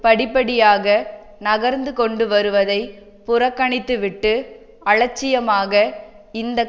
படிப்படியாக நகர்ந்து கொண்டுவருவதை புறக்கணித்துவிட்டு அலட்சியமாக இந்த